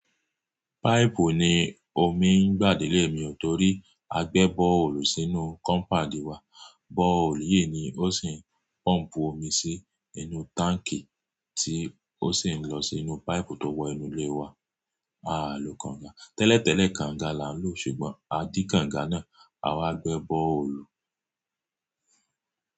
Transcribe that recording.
Páípù ni omi ń gbà dé ilé mi nítorí a gbẹ́ bọ́ọ̀lù sínú kọ́mpádi wa. Bọ́ọ̀lù yìí ni ó sì ń pọ́m̀pù omi sí inú táǹkì tí ó sì ń lọ sínú páìpù tó wọ inú ilé wa. A lò kànga. Tẹ́lẹ̀tẹ́lẹ̀, kànga là ń lò, ṣùgbọ́n a dí kànga náà, a wáá gbẹ́ bọ́ọ̀lù.